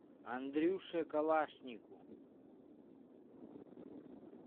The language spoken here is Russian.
андрюше калашнику